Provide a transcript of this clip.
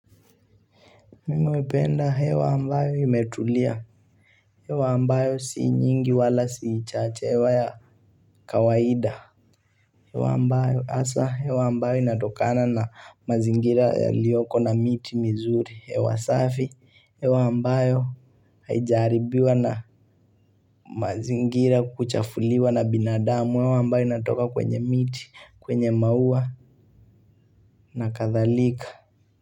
Mimi hupenda hewa ambayo imetulia, hewa ambayo si nyingi wala si chache hewa ya kawaida hewa ambayo hasa hewa ambayo inatokana na mazingira yaliyoko na miti mizuri hewa safi, hewa ambayo haija haribiwa na mazingira kuchafuliwa na binadamu hewa ambayo inatoka kwenye miti, kwenye maua na kadhalika.